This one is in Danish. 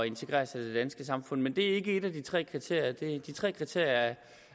integrere sig i det danske samfund men det er ikke et af de tre kriterier de tre kriterier